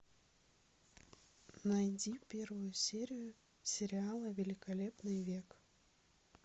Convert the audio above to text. найди первую серию сериала великолепный век